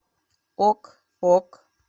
ок ок